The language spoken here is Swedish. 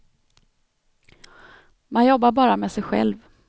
Man jobbar bara med sig själv.